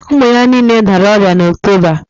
Ụmụ ya niile dara ọrịa n'Oktoba